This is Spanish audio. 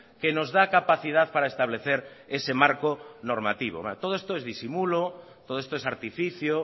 que nos da capacidad para establecer ese marco normativo todo esto es disimulo todo esto es artificio